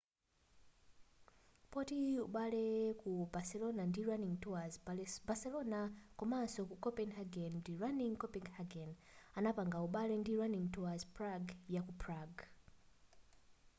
poti pali ubale ku barcelona ndi running tours barcelona komanso ku copenhagen ndi running copenhagen inapanga ubale ndi runing tours prague yaku prague